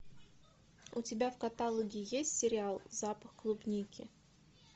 у тебя в каталоге есть сериал запах клубники